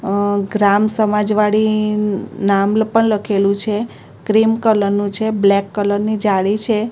અ ગ્રામ સમાજ વાડી નામ પણ લખેલું છે ક્રીમ કલર નું છે બ્લેક કલર ની જાળી છે.